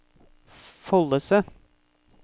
Follese